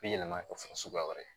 Bi yɛlɛma kɛ fɔ suguya wɛrɛ ye